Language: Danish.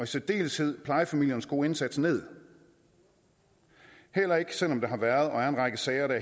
særdeleshed plejefamiliernes gode indsats ned heller ikke selv om der har været og er en række sager der